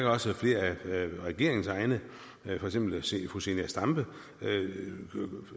også at flere af regeringens egne for eksempel fru zenia stampe